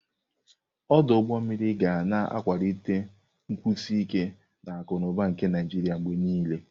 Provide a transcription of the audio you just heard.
Ọdụ ụgbọ mmiri ga na-akwalite nkwụsi ike akụ na ụba nke Naịjiria mgbe niile.